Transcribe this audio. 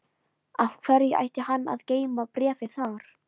Af hverju ætti hann að geyma bréfið þar?